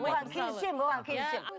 оған келісемін оған келісемін